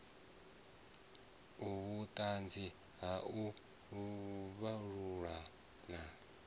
vhuṱanzi ha u vhalulula na